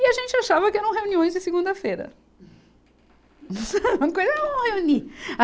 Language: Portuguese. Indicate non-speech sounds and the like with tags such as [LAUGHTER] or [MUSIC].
E a gente achava que eram reuniões de segunda-feira. [LAUGHS] [UNINTELLIGIBLE]